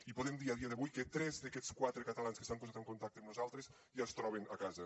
i podem dir a dia d’avui que tres d’aquests quatre catalans que s’han posat en contacte amb nosaltres ja es troben a casa